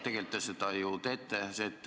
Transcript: Tegelikult te seda ju teete.